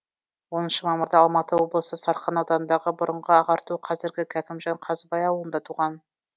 оныншы мамырда алматы облысы сарқан ауданындағы бұрынғы ағарту қазіргі кәкімжан қазыбай ауылында туған